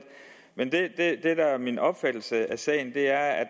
men det der er min opfattelse af sagen er